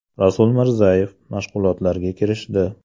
Rasul Mirzayev mashg‘ulotlarga kirishdi.